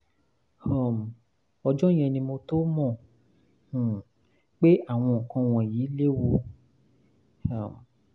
um ọjọ́ yẹn ni mo tó mọ̀ um pé àwọn nǹkan wọ̀nyí léwu um